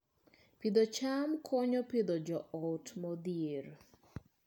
Pidho cham konyo Pidhoo joot modhier